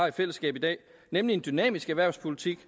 i fællesskab i dag nemlig en dynamisk erhvervspolitik